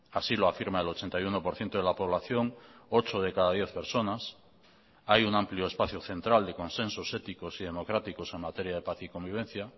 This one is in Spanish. así lo afirma el ochenta y uno por ciento de la población ocho de cada diez personas hay un amplio espacio central de consensos éticos y democráticos en materia de paz y convivencia